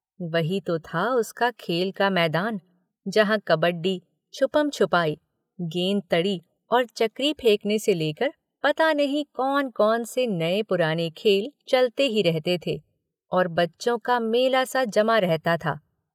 वही तो था उसका खेल का मैदान, जहां कबड्डी, छुपनछुपाई, गेंदतड़ी और चकरी फेंकने से लेकर पता नहीं कौन-कौन से नए-पुराने खेल चलते ही रहते थे और बच्चों का मेला-सा जमा रहता था?